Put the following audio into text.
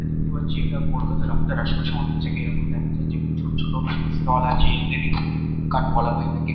এটা দেখতে পাচ্ছি এটা কলকাতার রাস্তার আশেপাশে অনেক জায়গায় এরকম দেখা যায়। যেখানে ছোট ছোট স্টল আছে। এদের উডকাট বলা হয়ে থাকে।